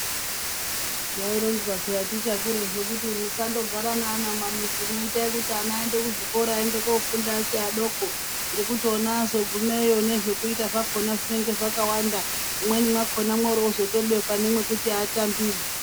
Zvaironzwa peya tichakurapo kuti musandogara neana mumamizimwo. Itai kuti ana aende kuzvikora aende kofunda achifi adoko ngekuiti ona azogumeyo zvekuita zvakona zvinenge zvakawanda. Mumweni mwakona mworozo tobekwa mwekuti atambire.